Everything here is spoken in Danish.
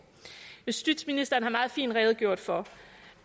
justitsministeren har meget fint redegjort for